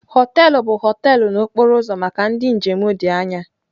họteelụ bụ họteelụ na okporo ụzọ maka ndị njem dị anya.